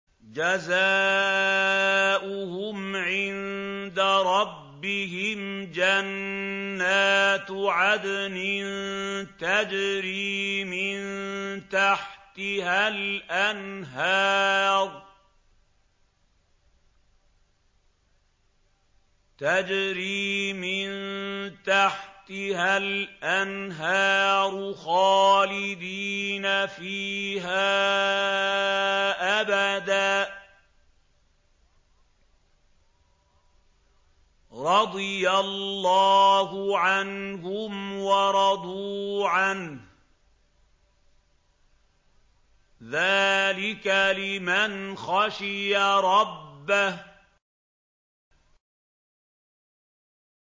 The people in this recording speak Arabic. جَزَاؤُهُمْ عِندَ رَبِّهِمْ جَنَّاتُ عَدْنٍ تَجْرِي مِن تَحْتِهَا الْأَنْهَارُ خَالِدِينَ فِيهَا أَبَدًا ۖ رَّضِيَ اللَّهُ عَنْهُمْ وَرَضُوا عَنْهُ ۚ ذَٰلِكَ لِمَنْ خَشِيَ رَبَّهُ